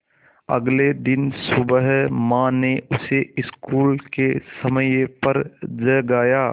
अगले दिन सुबह माँ ने उसे स्कूल के समय पर जगाया